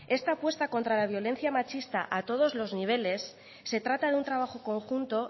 esta apuesta contra la violencia machista a todos los niveles se trata de un trabajo conjunto